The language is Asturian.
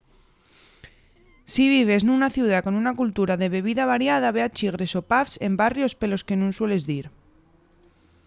si vives nuna ciudá con una cultura de bebida variada ve a chigres o pubs en barrios pelos que nun sueles dir